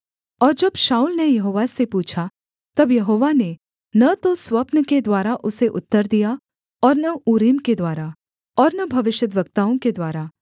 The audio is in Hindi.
और जब शाऊल ने यहोवा से पूछा तब यहोवा ने न तो स्वप्न के द्वारा उसे उत्तर दिया और न ऊरीम के द्वारा और न भविष्यद्वक्ताओं के द्वारा